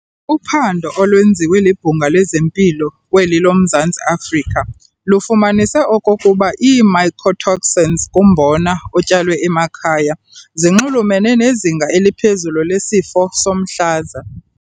Uphando olwenziwe libhunga lezempilo kweli lomZantsi Afrika lifumanise okokuba ii-mycotoxins kumbona otyalwe emakhaya ziinxulumene nezinga eliphezulu lesifo somhlaza.